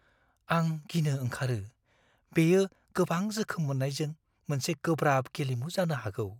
आं गिनो ओंखारो - बेयो गोबां जोखोम मोननायजों मोनसे गोब्राब गेलेमु जानो हागौ।